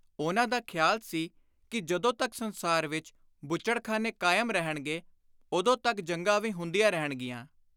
ਉਨ੍ਹਾਂ ਦਾ ਖ਼ਿਆਲ ਸੀ ਕਿ ਜਦੋਂ ਤਕ ਸੰਸਾਰ ਵਿਚ ਬੁੱਚੜਖ਼ਾਨੇ ਕਾਇਮ ਰਹਿਣਗੇ, ਉਦੋਂ ਤਕ ਜੰਗਾਂ ਵੀ ਹੁੰਦੀਆਂ ਰਹਿਣਗੀਆਂ।